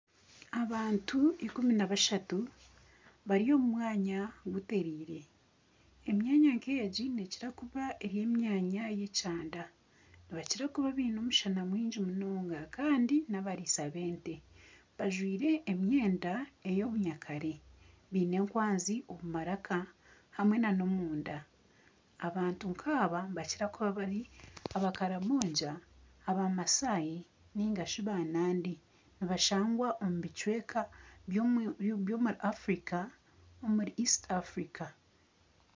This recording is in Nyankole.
Abantu ikumi na bashatu bari omu mwanya gutereire emyanya nka egi nekira kuba eri emyanya y'ekyanda nibakira kuba biine omushana mwingi munonga kandi n'abariisa b'ente bajwaire emyenda ey'obunyakare biine ekwanzi omu maraka hamwe n'omunda abantu nka aba nibakira kuba bari abakaramoja, bamasai nigashi ba naandi nibashangwa omu bicweka by'omuri Africa omuri East Africa.